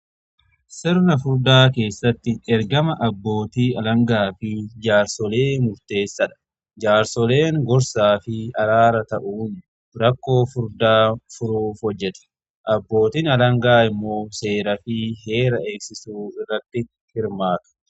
Sirna furdaa keessatti ergama abbootii alangaa fi jaarsolee murteessaadha. Jaarsoleen gorsaa fi araara ta'uun rakkoo furdaa furuuf hojjetu. Abbootin alangaa immoo seeraa fi heera eegsisuu irratti hirmaata.